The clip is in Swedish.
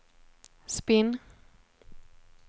spinn